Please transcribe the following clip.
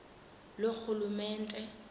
loorhulumente